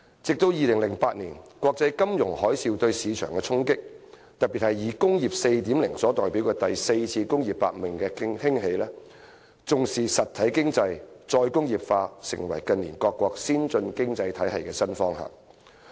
後來，鑒於2008年國際金融海嘯對市場的衝擊，特別是以工業 4.0 所代表的第四次工業革命的興起，重視"實體經濟"、"再工業化"成為近年各個先進經濟體系的新方向。